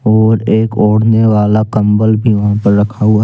और एक ओढ़ने वाला कंबल भी वहां पर रखा हुआ--